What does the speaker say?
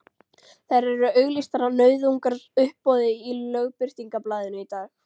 Þær eru auglýstar á nauðungaruppboði í Lögbirtingablaðinu í dag!